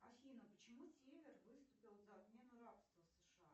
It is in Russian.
афина почему север выступил за отмену рабства в сша